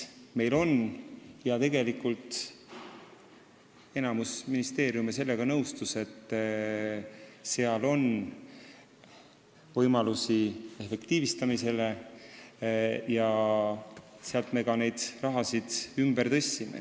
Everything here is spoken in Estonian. Tegelikult nõustus enamik ministeeriume, et on võimalusi efektiivistada, ja me raha ka ümber tõstsime.